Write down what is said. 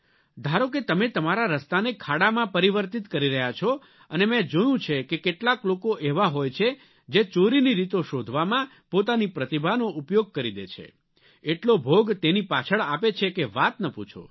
ધારો કે તમે તમારા રસ્તાને ખાડામાં પરિવર્તિત કરી રહ્યા છો અને મેં જોયું છે કે કેટલાક લોકો એવા હોય છે જે ચોરીની રીતો શોધવામાં પોતાની પ્રતિભાનો ઉપયોગ કરી દે છે એટલો ભોગ તેની પાછળ આપે છે કે વાત ન પૂછો